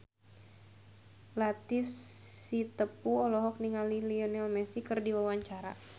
Latief Sitepu olohok ningali Lionel Messi keur diwawancara